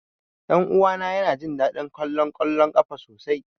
Ɗan uwana yana jin daɗin kallon ƙwallon ƙafa sosai.